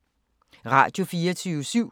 Radio24syv